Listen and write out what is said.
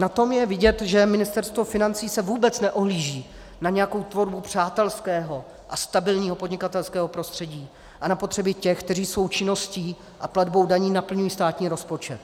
Na tom je vidět, že Ministerstvo financí se vůbec neohlíží na nějakou tvorbu přátelského a stabilního podnikatelského prostředí a na potřeby těch, kteří svou činností a platbou daní naplňují státní rozpočet.